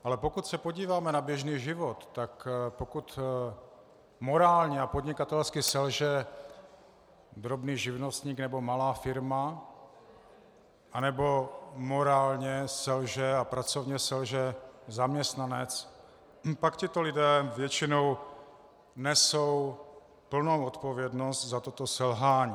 Ale pokud se podíváme na běžný život, tak pokud morálně a podnikatelsky selže drobný živnostník nebo malá firma nebo morálně selže a pracovně selže zaměstnanec, pak tito lidé většinou nesou plnou odpovědnost za toto selhání.